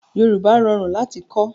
Yorùbá rọrùn láti kọ́